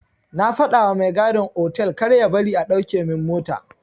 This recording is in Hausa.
Na fadawa mai gadin otal karya bari a dauke min mota.